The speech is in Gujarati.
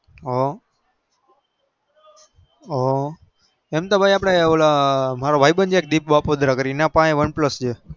હ હ તમેતો ભાઈ મારા ભાઈ બંધ ત્રેપોડા કરીન એની પચે one plus છે